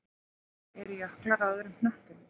Eru jöklar á öðrum hnöttum?